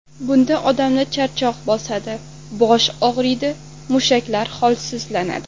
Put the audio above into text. Bunda odamni charchoq bosadi, bosh og‘riydi, mushaklar holsizlanadi.